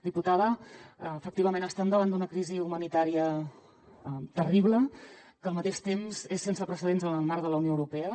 diputada efectivament estem davant d’una crisi humanitària terrible que al mateix temps és sense precedents en el marc de la unió europea